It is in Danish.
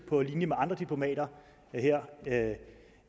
på linje med andre diplomater her